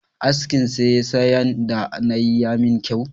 Askin saisayan da nayi ya min kyau